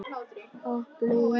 Hopp og hí